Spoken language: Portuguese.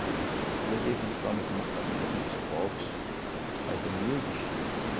Inclusive nós somos de uma família muito pobre, mas humilde.